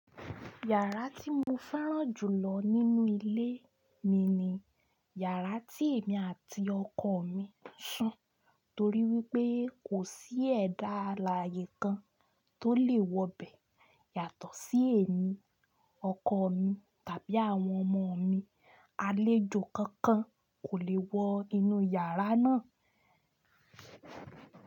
Yàrá tí mo fẹ́ràn jù lọ nínú ilé mi ni yàrá tí èmi àti ọkọ mi ń sùn torí wípé kò sí ẹ̀dá alààyè kan tó lè wọ bẹ̀ yàtọ̀ sí èmi, ọkọ mi tàbí àwọn ọmọ mi. Àlejò kankan kò lè wọ inú yàrá náà.